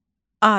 Abidə.